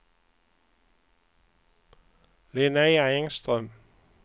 Linnea Engström